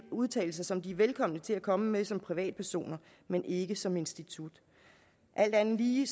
udtalelser som de er velkomne til at komme med som privatpersoner men ikke som institut alt andet lige